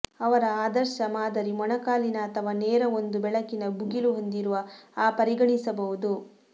ಅವರ ಆದರ್ಶ ಮಾದರಿ ಮೊಣಕಾಲಿನ ಅಥವಾ ನೇರ ಒಂದು ಬೆಳಕಿನ ಭುಗಿಲು ಹೊಂದಿರುವ ಆ ಪರಿಗಣಿಸಬಹುದು